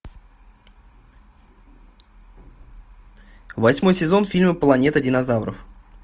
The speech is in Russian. восьмой сезон фильма планета динозавров